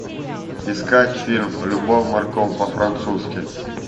искать фильм любовь морковь по французски